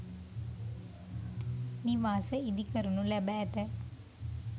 නිවාස ඉදිකරනු ලැබ ඇත